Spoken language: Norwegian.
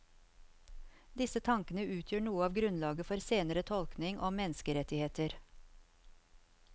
Disse tankene utgjør noe av grunnlaget for senere tenkning om menneskerettigheter.